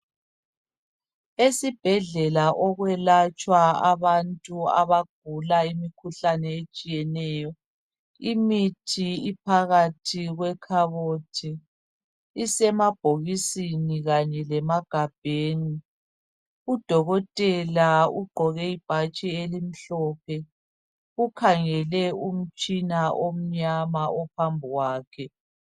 esibhedlela okuyelatshwa abantu abagula imikhuhlane etshiyeneyo imithi iphakathi kwekhabothi isemabhokisini kanye lemagabheni udokotela ugqoke ibhatshi elimhlophe ukhangele umtshina omnyama phambili kwakhe